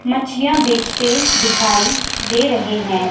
मछलियां बेचते दिखाई दे रहे हैं।